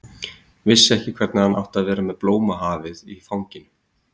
Vissi ekki hvernig hann átti að vera með blómahafið í fanginu.